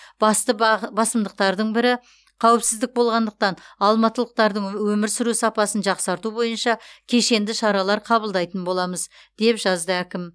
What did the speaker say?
басты бағ басымдықтардың бірі қауіпсіздік болғандықтан алматылықтардың өмір сүру сапасын жақсарту бойынша кешенді шаралар қабылдайтын боламыз деп жазды әкім